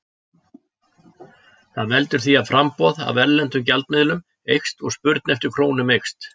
Það veldur því að framboð af erlenda gjaldmiðlinum eykst og spurn eftir krónum eykst.